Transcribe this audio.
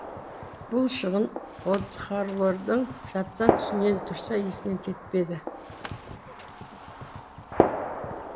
бұл шығын одхорлалдың жатса түсінен тұрса есінен кетпеді